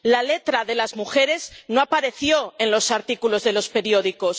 la letra de las mujeres no apareció en los artículos de los periódicos.